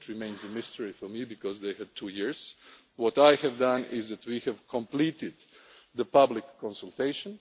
It remains a mystery to me because they had two years. What I have done is ensure we have completed the public consultation.